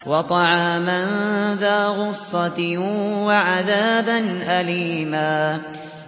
وَطَعَامًا ذَا غُصَّةٍ وَعَذَابًا أَلِيمًا